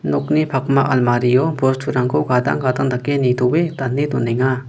nokni pakma almario bosturangko gadang gadang dake nitoe dane donenga.